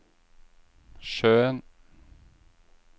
sjøen